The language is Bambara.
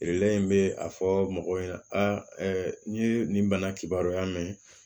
in bɛ a fɔ mɔgɔw ɲɛna n ye nin bana kibaruya mɛn